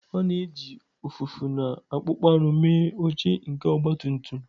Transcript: A na-eji ụfụfụ na akpụkpọ anụ mee oche nke ọgbatumtum.